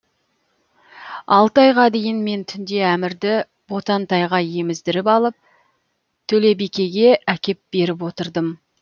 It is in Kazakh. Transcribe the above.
алты айға дейін мен түнде әмірді ботантайға еміздіріп алып төлебикеге әкеп беріп отырдым